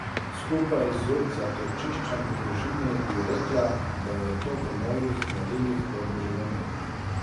Skupaj z zatočiščem v družini bi rekla, da je to po mojih merilih dobro življenje.